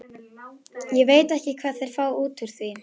Ég veit ekki hvað þeir fá út úr því.